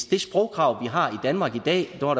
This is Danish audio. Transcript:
det sprogkrav vi har i danmark i dag er